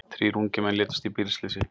Þrír ungir menn létust í bílslysi